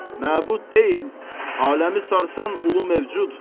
Məbud deyil, aləmi sarsan ulu mövcud.